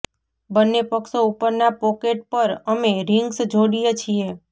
બન્ને પક્ષો ઉપરના પોકેટ પર અમે રિંગ્સ જોડીએ છીએ